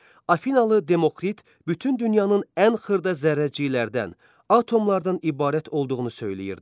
Afinallı Demokrit bütün dünyanın ən xırda zərrəciklərdən, atomlardan ibarət olduğunu söyləyirdi.